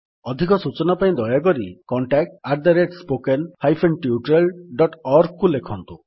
ଅଧିକ ସୂଚନା ପାଇଁ ଦୟାକରି contactspoken tutorialorgକୁ ଲେଖନ୍ତୁ